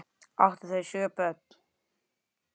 Áttu þau sjö börn.